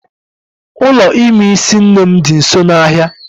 Ụlọ ime isi nne m di nso n'ahia